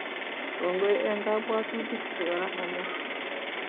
Kongoi eng kabwatutik chegororon